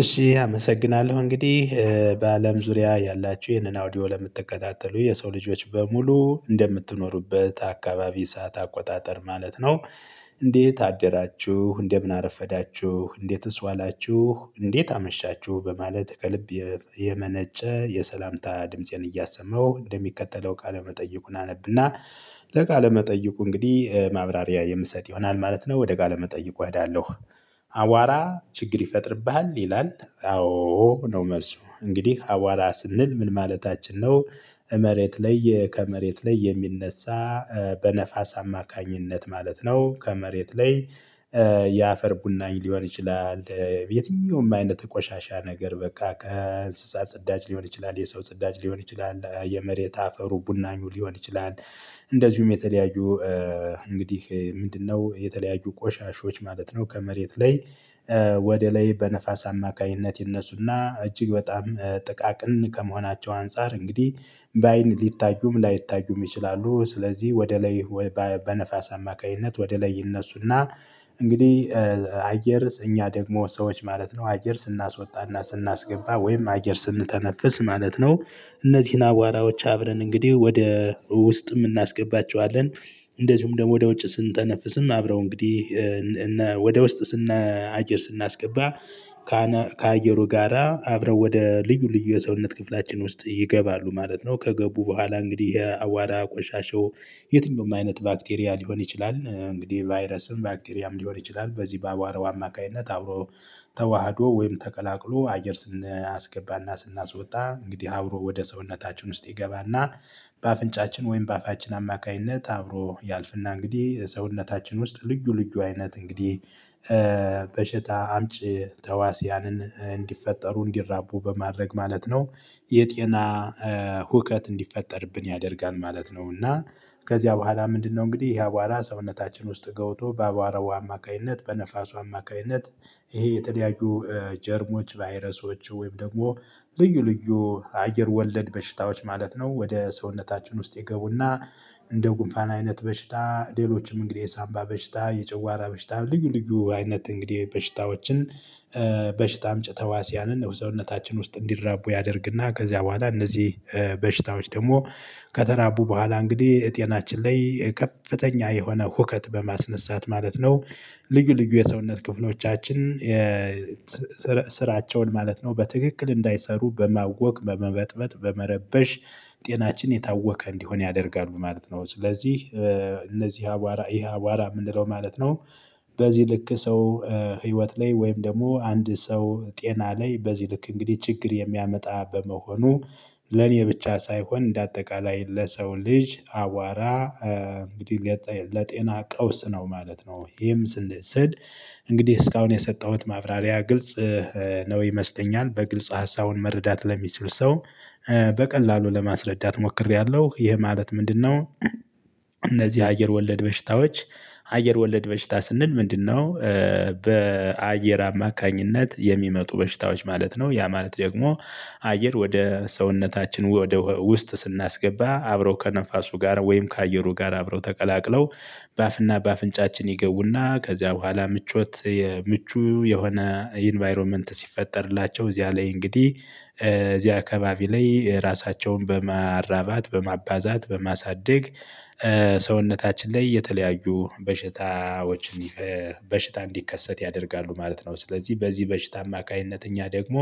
እሺ አመሰግናለሁ እንግዲህ በአለም ዙሪያ ያላችሁ ይህንን አውዲዮ ለምትከታተሉ የሰው ልጆች በሙሉ እንደምትኖሩበት አካባቢ ሰዓት አቆጣጠር ማለት ነው። እንዴት አደራችሁ እንደምን አረፈዳችሁ እንዴትስ ዋላችሁ እንዴት አመሻችሁ በማለት ከልብ የመነጨ የሰላምታ ድምፄን እያሰማሁ እንደሚከተለው ቃለ መጠይቁን አነብና። ለቃለ መጠይቁ እንግዲህ ማብራሪያ የምሰጥ ይሆናል ማለት ነው ወደ ቃለመጠይቁ አዳለሁ። አቧራ ችግር ይፈጥርብሃል ይላል? አዎ ነው መልሱ እንግዲህ አቧራ ስንል ምን ማለታችን ነው? መሬት ላይ ከመሬት ላይ የሚነሳ በነፋስ አማካኝነት ማለት ነው ከመሬት ላይ። የአፈር ቡናኝ ሊሆን ይችላል። የትኛውም አይነት ቆሻሻ ነገር በቃ ከእንስሳት ጽዳጅ ሊሆን ይችላል የሰው ጽዳጅ ሊሆን ይችላል የመሬት አፈሩ ቡናኙ ሊሆን ይችላል። እንደዚሁም የተለያዩ እንግዲህ ምንድነው የተለያዩ ቆሻሻዎች ማለት ነው? ከመሬት ላይ። ወደ ላይ በነፋስ አማካኝነት ይነሱና እጅግ በጣም ጥቃቅን ከመሆናቸው አንፃር እንግዲህ በአይን ሊታዩም ላይታዩም ይችላሉ። ስለዚህ ወደ ላይ። በነፋስ አማካኝነት ወደ ላይ ይነሱና እንግዲህ አየር እኛ ደግሞ ሰዎች ማለት ነው አየር ስናስወጣና ስናስገባ ወይም አየር ስንተነፍስ ማለት ነው። እነዚህን አቧራዎች አብረን እንግዲህ ወደ ውስጥ እናስገባቸዋለን። እንደዚሁም ደግሞ ወደ ውጭ ስንተነፍስም አብረው እንግዲህ ወደ ውስጥ አየር ስናስገባ ከአየሩ ጋራ አብረው ወደ ልዩ ልዩ የሰውነት ክፍላችን ውስጥ ይገባሉ ማለት ነው። ከገቡ በኋላ እንግዲህ አቧራ ቆሻሻው የትኛውም አይነት ባክቴሪያ ሊሆን ይችላል እንግዲህ ቫይረስም ባክቴሪያም ሊሆን ይችላል። በዚህ በአቧራው አማካኝነት አብሮ ተዋህዶ ወይም ተቀላቅሎ አየር ስናስገባና ስናስወጣ እንግዲህ አብሮ ወደ ሰውነታችን ውስጥ ይገባና። በአፍንጫችን ወይም በአፋችን አማካኝነት አብሮ ያልፍና እንግዲህ ሰውነታችን ውስጥ ልዩ ልዩ አይነት እንግዲህ በሽታ አምጪ ተዋስያንን እንዲፈጠሩ እንዲራቡ በማድረግ ማለት ነው። የጤና ሁከት እንዲፈጠርብን ያደርጋል ማለት ነው። እና ከዚያ በኋላ ምንድነው እንግዲህ ያአቧራ ሰውነታችን ውስጥ ገብቶ በአቧራው አማካኝነት በነፋሱ አማካኝነት ይሄ የተለያዩ ጀርሞች ቫይረሶች ወይም ደግሞ ልዩ ልዩ አየር ወለድ በሽታዎች ማለት ነው ወደ ሰውነታችን ውስጥ ይገቡና። እንደ ጉንፋን አይነት በሽታ ሌሎችም እንግዲህ የሳንባ በሽታ የጨጓራ በሽታ ልዩ ልዩ አይነት እንግዲህ በሽታዎችን። በሽታ አምጪ ተዋሲያንን ያው ሰውነታችን ውስጥ እንዲራቡ ያደርግና ከዚያ በኋላ እነዚህ በሽታዎች ደግሞ ከተራቡ በኋላ እንግዲህ ጤናችን ላይ ከፍተኛ የሆነ ሁከት በማስነሳት ማለት ነው። ልዩ ልዩ የሰውነት ክፍሎቻችን። ስራቸውን ማለት ነው በትክክል እንዳይሰሩ በማወቅ በመበጥበጥ በመረበሽ ጤናችን የታወከ እንዲሆን ያደርጋሉ ማለት ነው። ስለዚህ እነዚህ አቧራ ይሄ አቧራ የምንለው ማለት ነው። በዚህ ልክ ሰው ህይወት ላይ ወይም ደግሞ አንድ ሰው ጤና ላይ በዚህ ልክ እንግዲህ ችግር የሚያመጣ በመሆኑ ለኔ ብቻ ሳይሆን እንደ አጠቃላይ ለሰው ልጅ አቧራ እንግዲህ ለጤና ቀውስ ነው ማለት ነው። ይሄም ስል እንግዲህ እስካሁን የሰጠሁት ማብራሪያ ግልጽ ነው ይመስለኛል። በግልጽ ሀሳቡን መረዳት ለሚችል ሰው በቀላሉ ለማስረዳት ሞክሬያለሁ። ይሄ ማለት ምንድነው? እነዚህ አየር ወለድ በሽታዎች አየር ወለድ በሽታ ስንል ምንድነው? በአየር አማካኝነት የሚመጡ በሽታዎች ማለት ነው። ያ ማለት ደግሞ አየር ወደ ሰውነታችን ወደ ውስጥ ስናስገባ አብረው ከነፋሱ ጋር ወይም ከአየሩ ጋር አብረው ተቀላቅለው። በአፍና በአፍንጫችን ይገቡና ከዚያ በኋላ ምቾት ምቹ የሆነ ኢንቫይሮመንት ሲፈጠርላቸው እዚያ ላይ እንግዲህ እዚያ አካባቢ ላይ ራሳቸውን በማራባት በማባዛት በማሳደግ። ሰውነታችን ላይ የተለያዩ በሽታዎች በሽታ እንዲከሰት ያደርጋሉ ማለት ነው። ስለዚህ በዚህ በሽታ አማካኝነት እኛ ደግሞ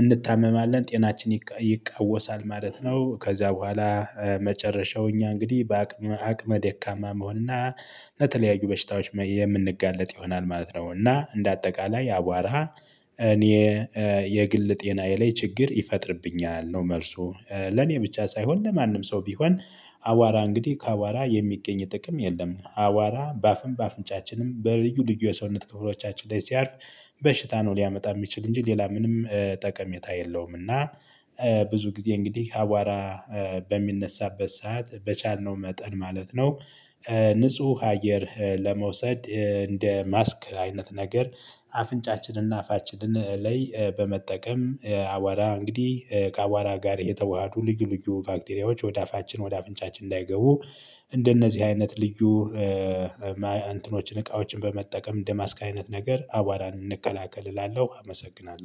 እንታመማለን ጤናችን ይቃወሳል ማለት ነው። ከዛ በኋላ መጨረሻው እኛ እንግዲህ አቅመ ደካማ መሆንና ለተለያዩ በሽታዎች የምንጋለጥ ይሆናል ማለት ነው። እና እንደ አጠቃላይ አቧራ እኔ የግል ጤናዬ ላይ ችግር ይፈጥርብኛል ነው። መልሱ ለኔ ብቻ ሳይሆን ለማንም ሰው ቢሆን አቧራ እንግዲህ ከአቧራ የሚገኝ ጥቅም የለም። አቧራ በአፍም በአፍንጫችንም በልዩ ልዩ የሰውነት ክፍሎቻችን ላይ ሲያርፍ በሽታ ነው ሊያመጣ የሚችል እንጂ ሌላ ምንም የለውም። እና ብዙ ጊዜ እንግዲህ አቧራ በሚነሳበት ሰዓት በቻልነው መጠን ማለት ነው። ንጹህ አየር ለመውሰድ እንደ ማስክ አይነት ነገር አፍንጫችንና አፋችንን ላይ በመጠቀም አቧራ እንግዲህ ከአቧራ ጋር የተዋሃዱ ልዩ ልዩ ባክቴሪያዎች ወደ አፋችን ወደ አፍንጫችን እንዳይገቡ። እንደነዚህ አይነት ልዩ እንትኖችን እቃዎችን በመጠቀም እንደ ማስክ አይነት ነገር አቧራን እንከላከል እላለሁ። አመሰግናለሁ